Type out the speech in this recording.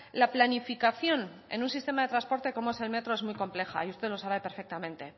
la planificación en un sistema de transporte como es el metro es muy compleja y usted lo sabe perfectamente